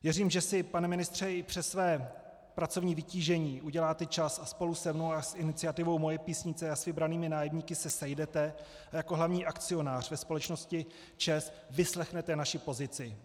Věřím, že si, pane ministře, i přes své pracovní vytížení uděláte čas a spolu se mnou a s iniciativou Moje Písnice a s vybranými nájemníky se sejdete a jako hlavní akcionář ve společnosti ČEZ vyslechnete naši pozici.